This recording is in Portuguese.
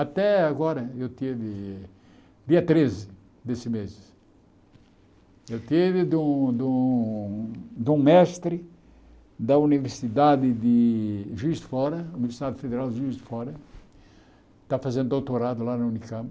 Até agora, eu tive, dia treze desse mês, eu tive de um de um de um mestre da Universidade de Juiz de Fora, Universidade Federal de Juiz de Fora, está fazendo doutorado lá na Unicamp,